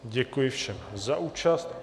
Děkuji všem za účast.